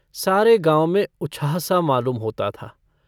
सारे गाँव में उछाहसा मालूम होता था।